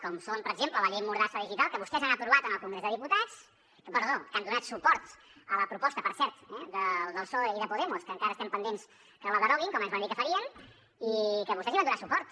com són per exemple la llei mordassa digital que vostès han aprovat en el congrés de diputats perdó que han donat suport a la proposta per cert del psoe i de podemos que encara estem pendents que la deroguin com ens van dir que farien i que vostès hi van donar suport